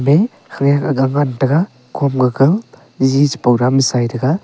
te khenak gang han tega khom ji taiga.